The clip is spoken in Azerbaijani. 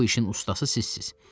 Bu işin ustası sizsiniz.